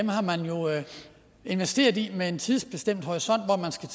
har man jo investeret i med en tidsbestemt horisont hvor man skal